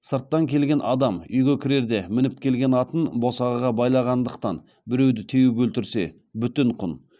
сырттан келген адам үйге кірерде мініп келген атын босағаға байлағандықтан біреуді теуіп өлтірсе бүтін құн